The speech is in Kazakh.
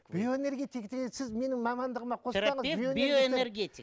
биоэнергетик деген сіз менің мамандығыма биоэнергетик